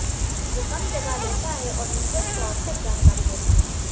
जो कम जगह लेता है और यूजर्स को आवश्यक जानकारी देता है